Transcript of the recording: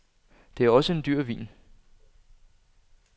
Det er også en dyr vin.